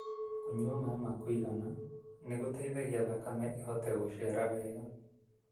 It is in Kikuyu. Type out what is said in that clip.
Kũnyua maĩ ma kũigana nĩgũteithagia thakame ĩhote gũcera wega.